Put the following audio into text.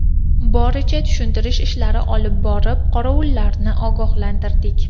Boricha tushuntirish ishlari olib borib, qorovullarni ogohlantirdik.